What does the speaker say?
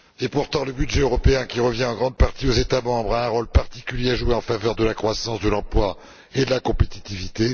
Pourtant, le budget européen, qui revient en grande partie aux États membres, a un rôle particulier à jouer en faveur de la croissance, de l'emploi et de la compétitivité.